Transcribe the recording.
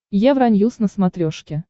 евроньюс на смотрешке